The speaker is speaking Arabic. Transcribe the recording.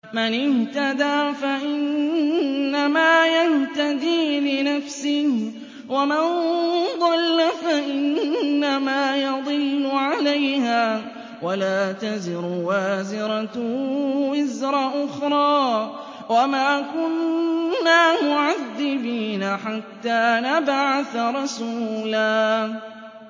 مَّنِ اهْتَدَىٰ فَإِنَّمَا يَهْتَدِي لِنَفْسِهِ ۖ وَمَن ضَلَّ فَإِنَّمَا يَضِلُّ عَلَيْهَا ۚ وَلَا تَزِرُ وَازِرَةٌ وِزْرَ أُخْرَىٰ ۗ وَمَا كُنَّا مُعَذِّبِينَ حَتَّىٰ نَبْعَثَ رَسُولًا